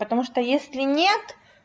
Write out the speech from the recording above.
потому что если нет